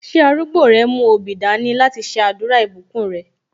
Ṣé arúgbó rẹ mú obì dání láti ṣe àdúrà ìbùkún rẹ?